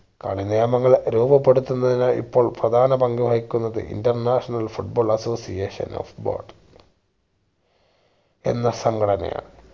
കളി നിയമങ്ങൾ രൂപപ്പെടുത്തുന്നതിന് ഇപ്പോൾ പ്രധാന പങ്ക്‌വഹിക്കുന്നത് international foot ball association of ball എന്ന സംഘടന ആണ്